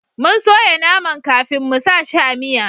Mun soya naman kafin mu sa shi a miya